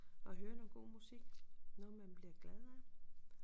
Og høre noget god musik noget man bliver glad af